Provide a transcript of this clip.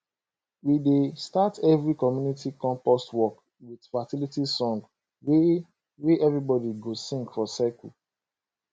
we dey start every community compost work with fertility song wey wey everybody go sing for circle